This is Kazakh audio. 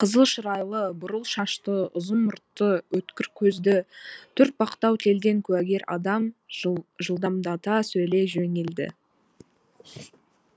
қызыл шырайлы бурыл шашты ұзын мұртты өткір көзді төртбақтау келген куәгер адам жылдамдата сөйлей жөнелді